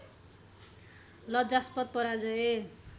लज्जास्पद पराजय